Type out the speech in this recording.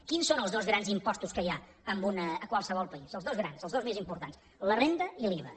quins són els dos grans impostos que hi ha a qualsevol país els dos grans els dos més importants la renda i l’iva